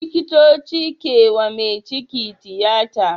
Likitoci kewa me ciki tiyata